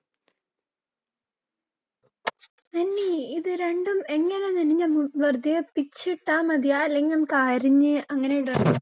അല്ല നന്നി, നമ്മള് വെറുതെ പിച്ചി ഇട്ടാ മതിയാ, അല്ലെങ്കിൽ നമ്മക്ക് അരിഞ്ഞ് അങ്ങനെ ഇടണോ